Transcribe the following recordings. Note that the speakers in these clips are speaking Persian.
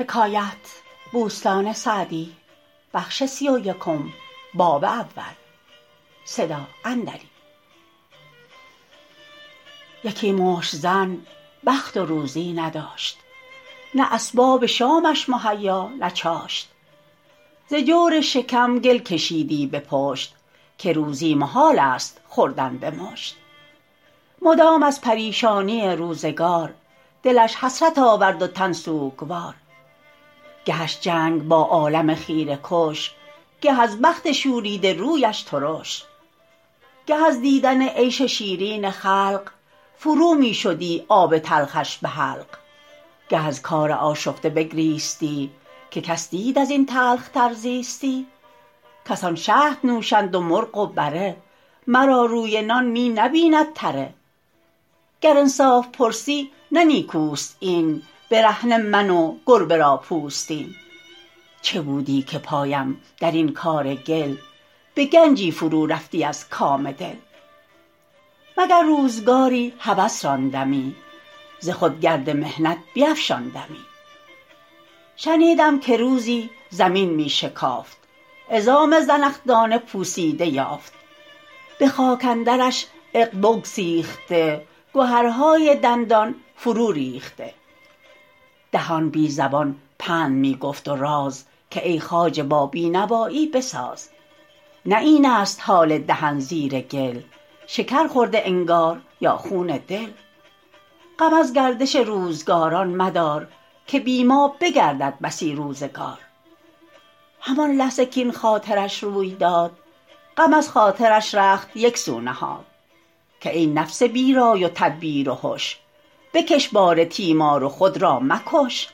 یکی مشت زن بخت و روزی نداشت نه اسباب شامش مهیا نه چاشت ز جور شکم گل کشیدی به پشت که روزی محال است خوردن به مشت مدام از پریشانی روزگار دلش حسرت آورد و تن سوگوار گهش جنگ با عالم خیره کش گه از بخت شوریده رویش ترش گه از دیدن عیش شیرین خلق فرو می شدی آب تلخش به حلق گه از کار آشفته بگریستی که کس دید از این تلخ تر زیستی کسان شهد نوشند و مرغ و بره مرا روی نان می نبیند تره گر انصاف پرسی نه نیکوست این برهنه من و گربه را پوستین چه بودی که پایم در این کار گل به گنجی فرو رفتی از کام دل مگر روزگاری هوس راندمی ز خود گرد محنت بیفشاندمی شنیدم که روزی زمین می شکافت عظام زنخدان پوسیده یافت به خاک اندرش عقد بگسیخته گهرهای دندان فرو ریخته دهان بی زبان پند می گفت و راز که ای خواجه با بینوایی بساز نه این است حال دهن زیر گل شکر خورده انگار یا خون دل غم از گردش روزگاران مدار که بی ما بگردد بسی روزگار همان لحظه کاین خاطرش روی داد غم از خاطرش رخت یک سو نهاد که ای نفس بی رای و تدبیر و هش بکش بار تیمار و خود را مکش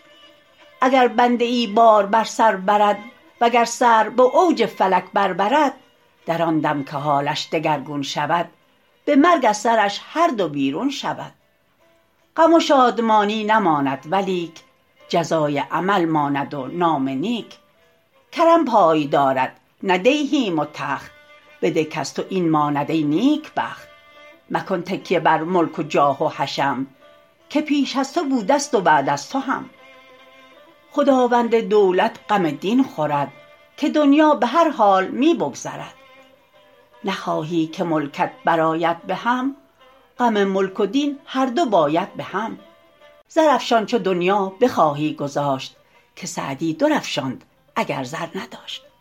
اگر بنده ای بار بر سر برد وگر سر به اوج فلک بر برد در آن دم که حالش دگرگون شود به مرگ از سرش هر دو بیرون شود غم و شادمانی نماند ولیک جزای عمل ماند و نام نیک کرم پای دارد نه دیهیم و تخت بده کز تو این ماند ای نیکبخت مکن تکیه بر ملک و جاه و حشم که پیش از تو بوده ست و بعد از تو هم خداوند دولت غم دین خورد که دنیا به هر حال می بگذرد نخواهی که ملکت برآید بهم غم ملک و دین هر دو باید بهم زرافشان چو دنیا بخواهی گذاشت که سعدی در افشاند اگر زر نداشت